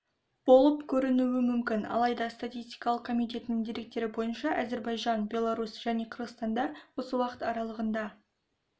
болып көрінуі мүмкін алайда статистикалық комитетінің деректері бойынша әзербайжан беларусь және қырғызстанда осы уақыт аралығында